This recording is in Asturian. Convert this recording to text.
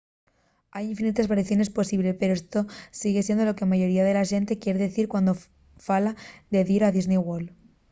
hai infinites variaciones posibles pero esto sigue siendo lo que la mayoría de la xente quier dicir cuando fala de dir a disney world